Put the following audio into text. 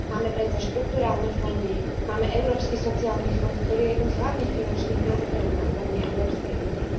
Máme predsa štrukturálne fondy, máme Európsky sociálny fond, ktorý je jedným z hlavných finančných nástrojov na úrovni Európskej únie.